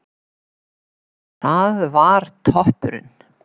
Það var toppurinn.